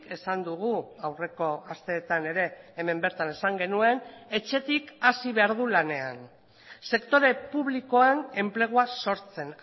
esan dugu aurreko asteetan ere hemen bertan esan genuen etxetik hasi behar du lanean sektore publikoan enplegua sortzen